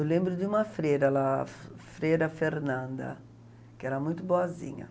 Eu lembro de uma freira lá, a Freira Fernanda, que era muito boazinha.